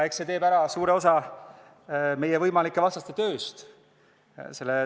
Eks see teeb ära suure osa meie võimalike vastaste tööst.